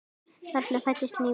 Þarna fæddist ný von.